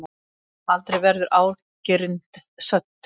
Aldrei verður ágirnd södd.